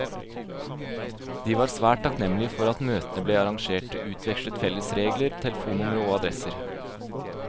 De var svært takknemlige for at møtene ble arrangert, utvekslet felles regler, telefonnumre og adresser.